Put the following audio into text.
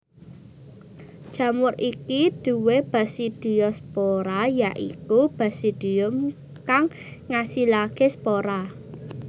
Jamur iki duwé basidiospora ya iku basidium kang ngasilaké spora